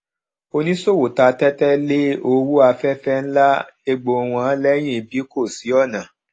oníṣòwò ta tẹtẹ lé owó afẹfẹ ń lá egbò wọn lẹyìn bí kò sí ọnà